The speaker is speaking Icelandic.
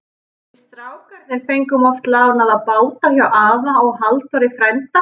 Við strákarnir fengum oft lánaða báta hjá afa og Halldóri frænda.